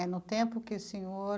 É no tempo que o senhor...